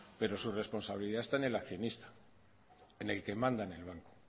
pero su responsabilidad está en el accionista en el que manda en el banco